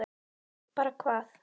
Bara hvað?